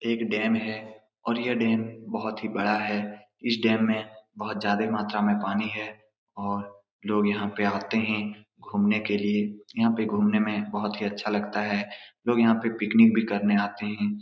एक डैम है और यह डैम बहुत ही बड़ा है इस डैम में बहुत ज्यादे मात्रा में पानी है और लोग यहाँ पे आते है घूमने के लिए यहाँ पे घूमने में बहुत ही अच्छा लगता है लोग यहाँ पे पिक्नीक भी करने आते है।